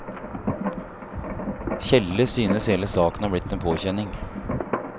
Tjelle synes hele saken er blitt en påkjenning.